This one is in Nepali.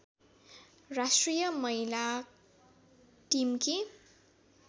राष्ट्रिय महिला टिमकी